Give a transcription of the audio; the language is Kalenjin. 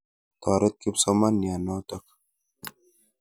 Toret kipsomaniat notok.